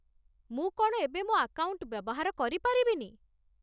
ମୁଁ କ'ଣ ଏବେ ମୋ ଆକାଉଣ୍ଟ ବ୍ୟବହାର କରିପାରିବିନି?